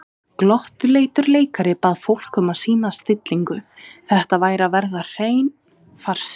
Glottuleitur leikari bað fólk um að sýna stillingu, þetta væri að verða hreinn farsi.